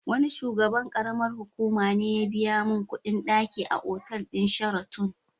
Wani shugaban ƙaramar hukuma ne ya biya min kuɗin ɗaki a otal din Sheraton.